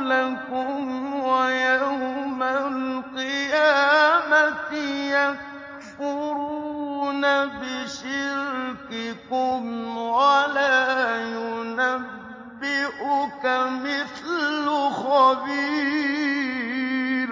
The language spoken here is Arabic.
لَكُمْ ۖ وَيَوْمَ الْقِيَامَةِ يَكْفُرُونَ بِشِرْكِكُمْ ۚ وَلَا يُنَبِّئُكَ مِثْلُ خَبِيرٍ